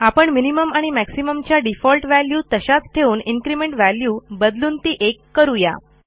आपण मिनिमम आणि मॅक्सिमम च्या डिफॉल्ट वॅल्यू तशाच ठेवून इन्क्रिमेंट व्हॅल्यू बदलून ती 1 करू या